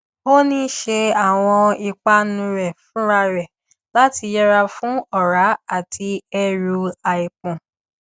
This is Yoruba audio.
ó ń ṣe àwọn ìpanu rẹ fúnra rẹ láti yẹra fún ọrá àti ẹrù àìpọn